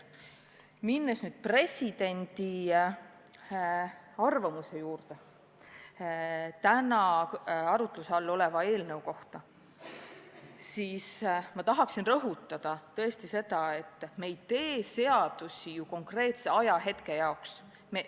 Minnes nüüd presidendi arvamuse juurde täna arutluse all oleva seaduse kohta, tahan rõhutada seda, et me ei tee seadusi ju konkreetseks ajahetkeks.